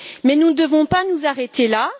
Mais nous ne devons pas nous arrêter là.